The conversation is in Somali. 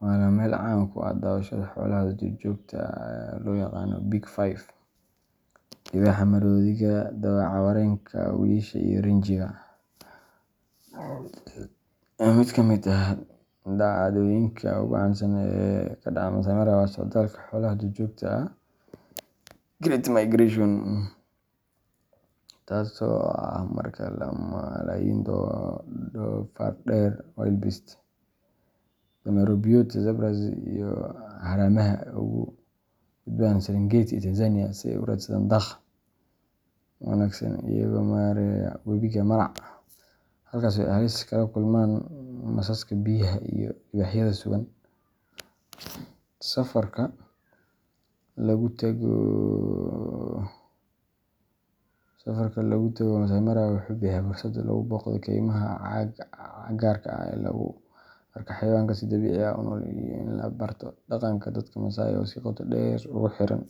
waana meel caan ku ah daawashada xoolaha duurjoogta ah ee loo yaqaan Big Five libaaxa, maroodiga, dawaco-wareenka, wiyisha iyo rinjiga. Mid ka mid ah dhacdooyinka ugu caansan ee ka dhaca Masai Mara waa socdaalka xoolaha duurjoogta ah Great Migration, taasoo ah marka malaayiin doofaar-dheer wildebeest, dameero-biyood zebras, iyo haramaha ay uga gudbaan Serengeti ee Tanzania si ay u raadsadaan daaq wanaagsan, iyagoo mareya wabiga Mara, halkaas oo ay halis kala kulmaan masaska biyaha iyo libaaxyada sugan. Safarka lagu tago Masai Mara wuxuu bixiyaa fursad lagu booqdo keymaha cagaarka ah, lagu arko xayawaanka si dabiici ah u nool, iyo in la barto dhaqanka dadka Maasai oo si qoto dheer ugu xiran.